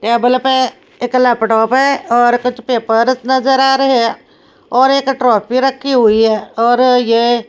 table पे एक laptop है और कुछ पेपर नजर आ रहे हैं और एक ट्रॉफी रखी हुई है और यह--